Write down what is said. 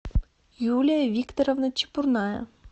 юлия викторовна чепурная